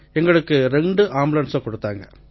எங்களுக்கு ரெண்டு ஆம்புலன்ஸ்களை குடுத்தாங்க